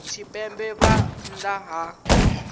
tshipembe arali vha nnḓa ha